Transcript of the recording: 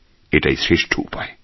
এটাই শ্রেষ্ঠ উপায়